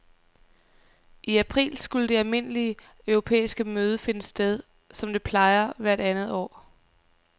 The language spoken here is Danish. I april skulle det almindelige europæiske møde finde sted, som det plejer hvert andet år.